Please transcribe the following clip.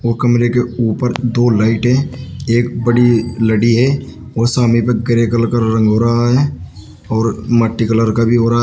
वो कमरे के ऊपर दो लाइट है एक बड़ी लड़ी है और पर सामने पर ग्रे कलर का रंग हो रहा है और मट्टी कलर का भी हो रहा है।